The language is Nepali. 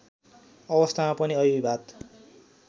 अवस्थामा पनि अमिताभ